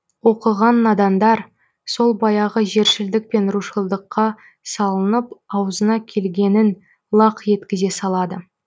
оқыған надандар сол баяғы жершілдік пен рушылдыққа салынып аузына келгенін лақ еткізе салады